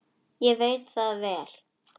Ég veit það vel!